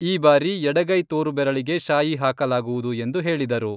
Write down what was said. ಈ ಬಾರಿ ಎಡಗೈ ತೋರು ಬೆರಳಿಗೆ ಶಾಯಿ ಹಾಕಲಾಗುವುದು ಎಂದು ಹೇಳಿದರು.